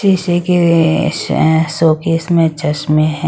शीशे के अ शोकेस में चश्मे हैं।